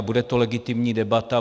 A bude to legitimní debata.